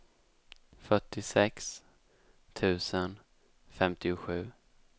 fyrtiosex tusen femtiosju